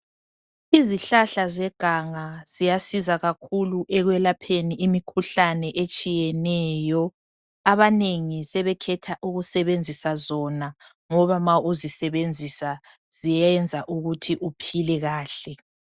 Izihlahla zeganga ziyasiza kakhulu ekwelapheni imkhuhlane etshiyeneyo abanengi sebekhetha ukusebenzisa zona ngoba ma uzisebenzisa ziyenza ukuthi uphile kahle.